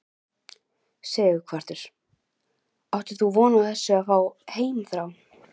Sighvatur: Áttir þú von á því að fá heimþrá?